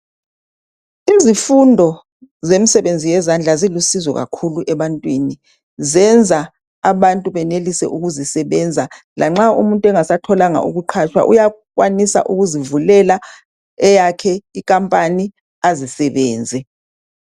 Izifundo zemsebenzi yezandla zilusizo kakhulu ebantwini. Zenza abantu benelise ukuzisebenza. Lanxa umuntu engasatholanga ukuqhatshwa uyakwanisa ukuzivulela eyakhe ikampani azisebenze.